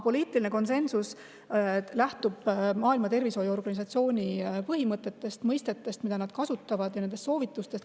Poliitiline konsensus lähtub Maailma Terviseorganisatsiooni põhimõtetest, mõistetest, mida nad kasutavad, ja nende soovitustest.